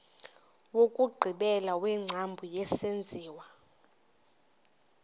wokugqibela wengcambu yesenziwa